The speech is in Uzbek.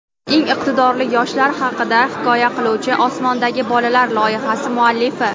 eng iqtidorli yoshlar haqida hikoya qiluvchi "Osmondagi bolalar" loyihasi muallifi.